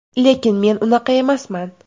Lekin men unaqa emasman.